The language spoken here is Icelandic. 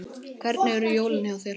Hvernig eru jólin hjá þér?